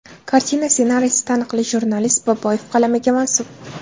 Kartina ssenariysi taniqli jurnalist B. Boboyev qalamiga mansub.